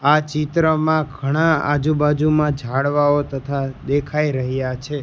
આ ચિત્રમાં ઘણા આજુ-બાજુ માં ઝાડવાઓ તથા દેખાઈ રહ્યા છે.